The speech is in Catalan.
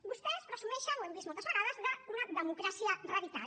vostès presumeixen ho hem vist moltes vegades d’una democràcia radical